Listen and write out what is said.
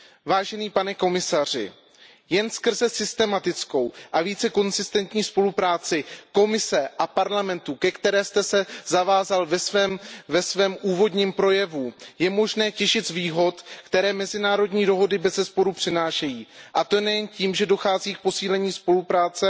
Vážený pane komisaři, jen skrze systematickou a více konzistentní spolupráci Komise a Parlamentu, ke které jste se zavázal ve svém úvodním projevu, je možné těžit z výhod, které mezinárodní dohody bezesporu přinášejí. A to nejen tím, že dochází k posílení spolupráce